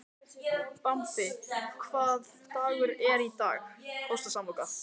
Bambi, hvaða dagur er í dag?